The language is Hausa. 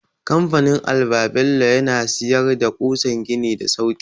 Kamfanin alba-bello yana siyar da ƙusan gini da sauki.